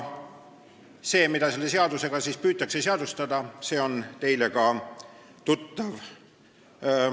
See, mida selle seadusega püütakse seadustada, on teile tuttav.